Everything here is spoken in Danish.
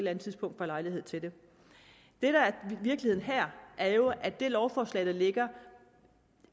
andet tidspunkt får lejlighed til det det der er virkeligheden her er jo at det lovforslag der ligger